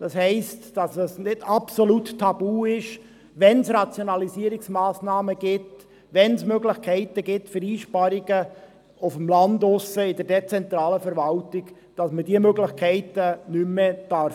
Das heisst, dass es nicht absolut tabu ist, wenn es Rationalisierungsmassnahmen gibt, wenn es Möglichkeiten für Einsparungen auf dem Land draussen, in der dezentralen Verwaltung gibt, sondern dass man diese Möglichkeiten wahrnehmen darf.